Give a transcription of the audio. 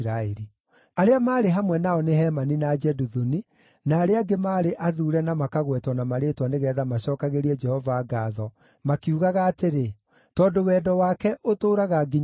Arĩa maarĩ hamwe nao nĩ Hemani na Jeduthuni, na arĩa angĩ maarĩ athuure na makagwetwo na marĩĩtwa nĩgeetha macookagĩrie Jehova ngaatho, makiugaga atĩrĩ, “Tondũ wendo wake ũtũũraga nginya tene.”